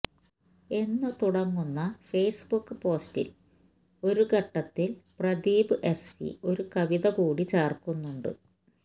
എന്ന് തുടങ്ങുന്ന ഫേസ്ബുക്ക് പോസ്റ്റില് ഒരു ഘട്ടത്തില് പ്രദീപ് എസ് വി ഒരു കവിത കൂടി ചേര്ക്കുന്നുണ്ട്